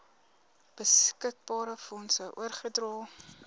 beskikbare fondse oorgedra